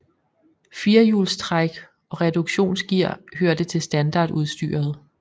Firehjulstræk og reduktionsgear hørte til standardudstyret